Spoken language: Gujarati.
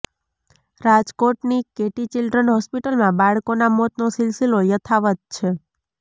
રાજકોટની કેટી ચિલ્ડ્રન હોસ્પિટલમાં બાળકોના મોતનો સિલસિલો યથાવત્ છે